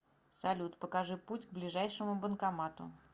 салют покажи путь к ближайшему банкомату